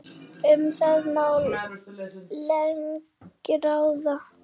Um það má lengi ræða.